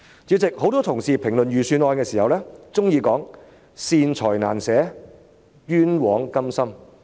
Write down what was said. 主席，很多同事評論預算案的時候，都喜歡說"善財難捨，冤枉甘心"。